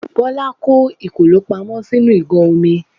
Bọ́lá kó kòló pamọ́ sínú ìgò omi.